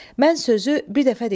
Mən sözü bir dəfə deyərəm.